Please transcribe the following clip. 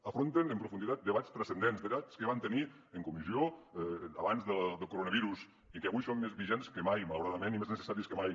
afronten amb profunditat debats transcendents debats que vam tenir en comissió abans del coronavirus i que avui són més vigents que mai malauradament i més necessàries que mai